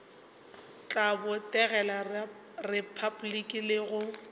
tla botegela repabliki le go